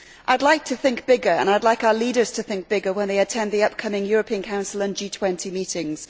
I would like to think bigger and I would like our leaders to think bigger when they attend the upcoming European Council and G20 meetings.